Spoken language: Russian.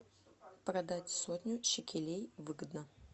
продать сотню шекелей выгодно